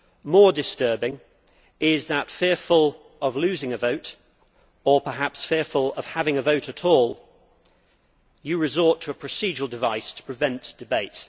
More disturbing is that, fearful of losing a vote or perhaps fearful of having a vote at all, you resort to a procedural device to prevent debate.